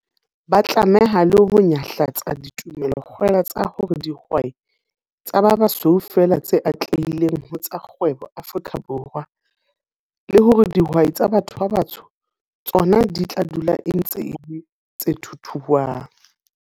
Ba tlameha le ho nyahlatsa ditumelo-kgwela tsa hore ke dihwai tsa ba basweu feela tse atlehileng ho tsa kgwebo Afrika Borwa, le hore dihwai tsa batho ba batsho tsona di tla dula e ntse e le 'tse thuthuang.'